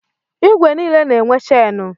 Igwe niile na-enwe chenụ.